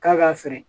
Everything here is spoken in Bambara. K'a ka feere